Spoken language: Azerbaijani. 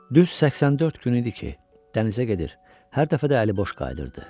Düz 84 gün idi ki, dənizə gedir, hər dəfə də əliboş qayıdırdı.